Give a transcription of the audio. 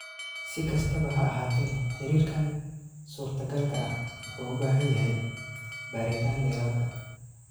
Si kastaba ha ahaatee, xiriirkan suurtagalka ah wuxuu u baahan yahay baaritaan dheeraad ah.